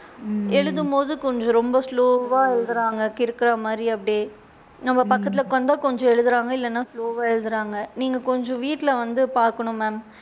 எழுதும் போது கொஞ்சம் ரொம்ப slow வா எழுதுறாங்ககிறுக்குற மாதிரி அப்படியே, நம்ம பக்கத்துல உட்காந்த கொஞ்சம் எழுதுறாங்க இல்லைனா slow வா எழுதுறாங்க நீங்க கொஞ்சம் வீட்ல வந்து பாக்கணும் ma'am.